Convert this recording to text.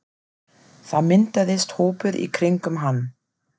Það myndaðist hópur í kringum hann.